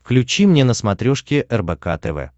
включи мне на смотрешке рбк тв